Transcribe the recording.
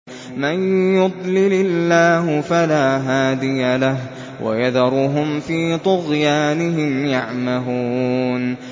مَن يُضْلِلِ اللَّهُ فَلَا هَادِيَ لَهُ ۚ وَيَذَرُهُمْ فِي طُغْيَانِهِمْ يَعْمَهُونَ